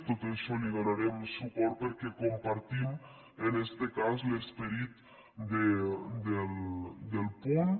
tot i això hi donarem suport perquè compartim en este cas l’esperit del punt